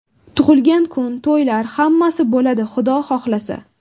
Tug‘ilgan kun, to‘ylar, hammasi bo‘ladi, Xudo xohlasa.